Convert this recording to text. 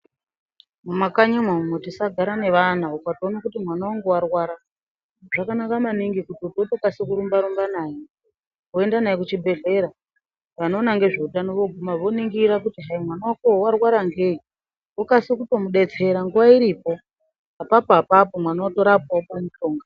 Mumakanyimwo umu tisagara nevana, ukatoona kuti mwana wangu warwara ,zvakanaka maningi kuti utokase kurumba-rumba naye, woenda naye kuchibhedhlera. Vanoona nezveutano voningira kuti hayi mwana wakowo warwara ngeyi, vokase kutomudetsera nguwa iripo, apapo apapo mwana wotorapwa wopuwe mutombo.